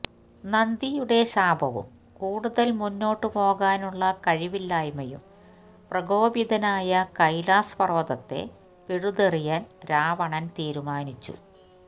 നന്ദിയുടെ ശാപവും കൂടുതൽ മുന്നോട്ട് പോകാനുള്ള കഴിവില്ലായ്മയും പ്രകോപിതനായ കൈലാസ് പർവതത്തെ പിഴുതെറിയാൻ രാവണൻ തീരുമാനിച്ചു